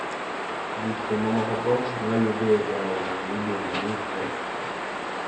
Gikmamokogo ne oyud e aora miluongo ni Drake.